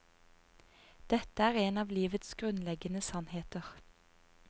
Dette er en av livets grunnleggende sannheter.